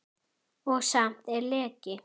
Og samt er leki.